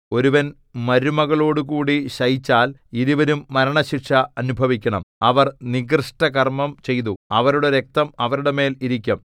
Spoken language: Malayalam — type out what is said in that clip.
ഒരുവൻ മരുമകളോടുകൂടി ശയിച്ചാൽ ഇരുവരും മരണശിക്ഷ അനുഭവിക്കണം അവർ നികൃഷ്ടകർമ്മം ചെയ്തു അവരുടെ രക്തം അവരുടെ മേൽ ഇരിക്കും